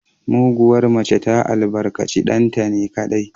Muguwar mace ta albarkaci ɗanta ne kaɗai